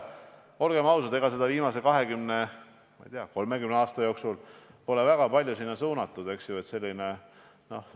Olgem ausad, viimase 20–30 aasta jooksul pole seda sinna väga palju suunatud.